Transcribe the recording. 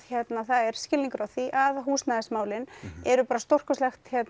það er skilningur á því að húsnæðismálin eru stórkostlegt